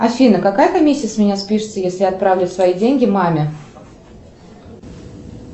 афина какая комиссия с меня спишется если отправлю свои деньги маме